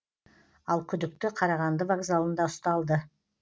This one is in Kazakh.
ал күдікті қарағанды вокзалында ұсталды